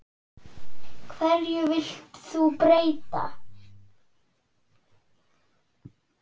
Hverju vilt þú breyta?